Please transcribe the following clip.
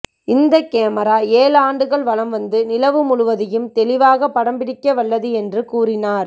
இந்த கேமரா ஏழு ஆண்டுகள் வலம் வந்து நிலவு முழுவதையும் தெளிவாக படம்பிடிக்கவல்லது என்று கூறினார்